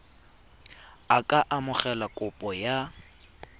a ka amogela kopo ya